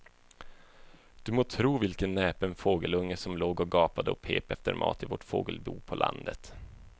Du må tro vilken näpen fågelunge som låg och gapade och pep efter mat i vårt fågelbo på landet.